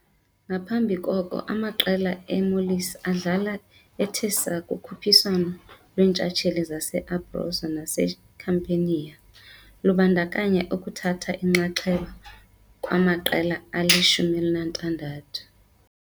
Ngaphambi koko amaqela e-Molise adlala ethe saa kukhuphiswano lweentshatsheli zase-Abruzzo naseCampania, lubandakanya ukuthatha inxaxheba kwamaqela ali-16.